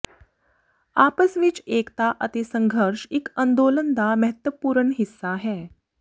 ਆਪਸ ਵਿਚ ਏਕਤਾ ਅਤੇ ਸੰਘਰਸ਼ ਇਕ ਅੰਦੋਲਨ ਦਾ ਮਹੱਤਵਪੂਰਨ ਹਿੱਸਾ ਹੈ